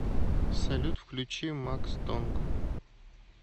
салют включи макс тонг